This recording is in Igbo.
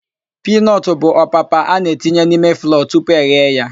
Piinọtụ bụ opapa a na-etinye n'ime flọọ tupu eghe ya.